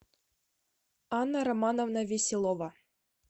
анна романовна веселова